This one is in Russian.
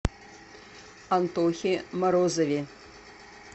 антохе морозове